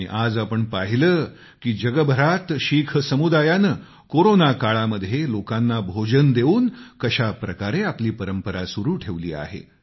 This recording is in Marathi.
आणि आज आपण पाहिलं की दुनियाभरामध्ये शीख समुदायाने कोरोना काळामध्ये लोकांना भोजन देऊन कशा प्रकारे आपली परंपरा सुरू ठेवली आहे